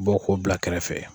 Bɔ k'o bila kɛrɛfɛ.